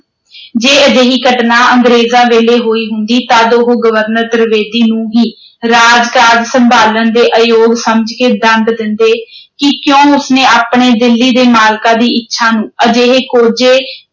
ਜੇ ਅਜਿਹੀ ਘਟਨਾ ਅੰਗਰੇਜ਼ਾਂ ਵੇਲੇ ਹੋਈ ਹੁੰਦੀ ਤਦ ਉਹ governor ਤ੍ਰਿਵੇਦੀ ਨੂੰ ਹੀ ਰਾਜਭਾਗ ਸੰਭਾਲਣ ਦੇ ਆਯੋਗ ਸਮਝ ਕੇ ਦੰਡ ਦਿੰਦੇ ਕਿ ਕਿਉਂ ਉਸਨੇ ਆਪਣੇ ਦਿੱਲੀ ਦੇ ਮਾਲਕਾਂ ਦੀ ਇੱਛਾ ਨੂੰ ਅਜਿਹੇ ਕੋਝੇ